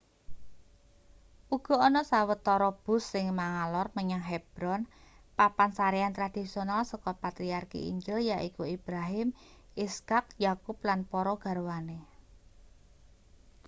uga ana sawetara bus sing mangalor menyang hebron papan sarean tradisional saka patriarki injil yaiku ibrahim ishak yakub lan para garwane